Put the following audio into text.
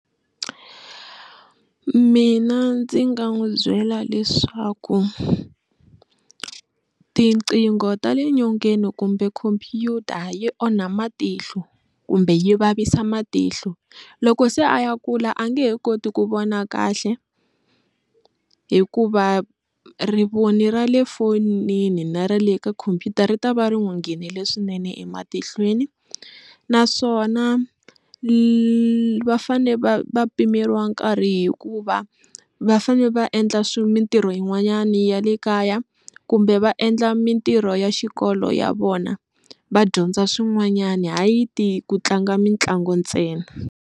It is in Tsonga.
Mina ndzi nga n'wi byela leswaku tinqingho ta le nyongeni kumbe khompyuta yi onha matihlo kumbe yi vavisa matihlo loko se a ya kula a nge he koti ku vona kahle hikuva rivoni ra le fonini na ra le ka khompyuta ri ta va ri n'wi nghenile swinene ematihlweni naswona va fane va va pimeriwa nkarhi hikuva va va fanele va endla mintirho yin'wanyana ya le kaya kumbe va endla mintirho ya xikolo ya vona va dyondza swin'wanyana hayi ku tlanga mitlangu ntsena.